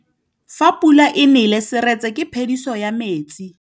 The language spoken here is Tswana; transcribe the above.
Fa pula e nelê serêtsê ke phêdisô ya metsi.